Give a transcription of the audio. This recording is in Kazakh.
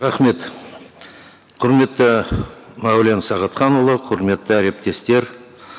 рахмет құрметті мәулен сағатханұлы құрметті әріптестер